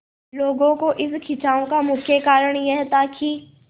लोगों के इस खिंचाव का मुख्य कारण यह था कि